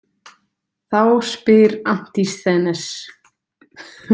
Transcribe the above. Þá spyr Antisþenes.